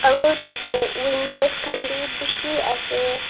aru tatey windows khan bi bishi ase.